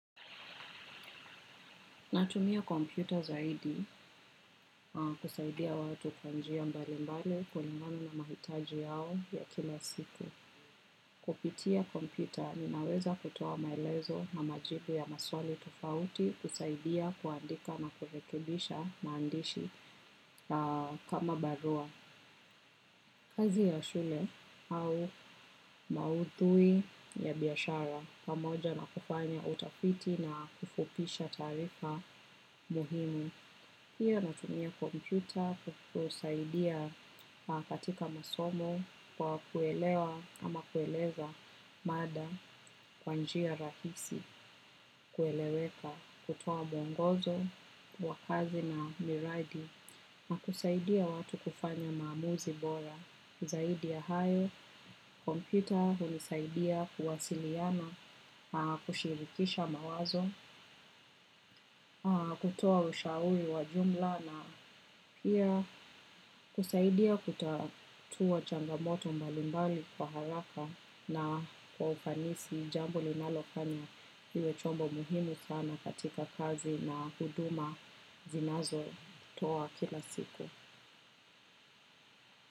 Natumia kompyuta zaidi kusaidia watu kwa njia mbali mbali kulingana na mahitaji yao ya kila siku. Kupitia kompyuta, ninaweza kutoa maelezo na majibu ya maswali tofauti kusaidia kuandika na kurekebisha maandishi kama barua. Kazi ya shule au maudhui ya biashara pamoja na kufanya utafiti na kufupisha taarifa muhimu. Pia natumia kompyuta kusaidia katika masomo kwa kuelewa ama kueleza mada kwa njia rahisi kueleweka kutoa mwongozo wa kazi na miradi na kusaidia watu kufanya maamuzi bora. Zaidi ya hayo, kompyuta hunisaidia kuwasiliana, kushirikisha mawazo, kutoa ushauri wa jumla na pia kusaidia kutatua changamoto mbalimbali kwa haraka na kwa ufanisi jambo ninalofanya iwe chombo muhimu sana katika kazi na huduma zinazotoa kila siku.